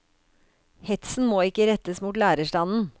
Hetsen må ikke rettes mot lærerstanden.